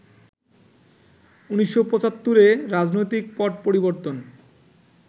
১৯৭৫ এ রাজনৈতিক পট পরিবর্তন